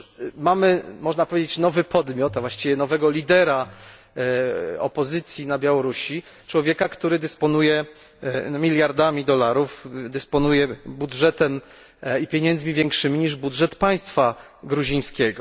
Otóż mamy, można powiedzieć, nowy podmiot, a właściwie nowego lidera opozycji w Gruzji, człowieka, który dysponuje miliardami dolarów, dysponuje budżetem i pieniędzmi większymi niż budżet państwa gruzińskiego.